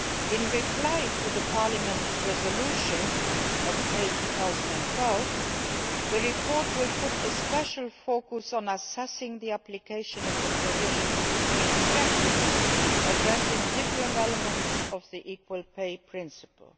In response to Parliament's resolution of May 2012, the report will focus in particular on assessing the application of the provisions in practice, addressing different elements of the equal pay principle.